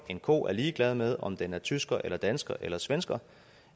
en ko er ligeglad med om den er tysker eller dansker eller svensker